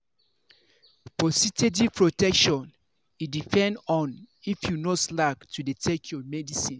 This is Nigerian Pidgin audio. for steady protection e depend on if you no slack to dey take your medicine